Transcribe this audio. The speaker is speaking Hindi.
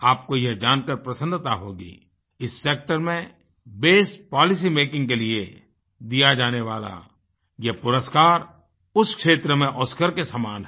आपको यह जानकार प्रसन्नता होगी इस सेक्टर में बेस्ट पॉलिसी मेकिंग के लिए दिया जाने वाला यह पुरस्कार उस क्षेत्र में ओस्कार के समान है